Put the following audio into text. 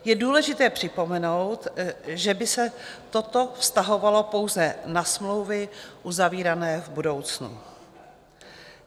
Je důležité připomenout, že by se toto vztahovalo pouze na smlouvy uzavírané v budoucnu.